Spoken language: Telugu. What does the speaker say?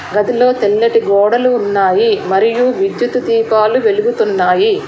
గదిలో తెల్లటి గోడలు ఉన్నాయి మరియు విద్యుతు దీపాలు వెలుగుతున్నాయి.